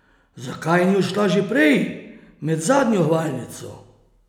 Zakaj ni odšla že prej, med zadnjo hvalnico?